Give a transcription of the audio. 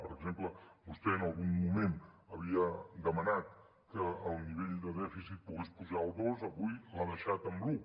per exemple vostè en algun moment havia demanat que el nivell de dèficit pogués pujar al dos avui l’ha deixat en l’un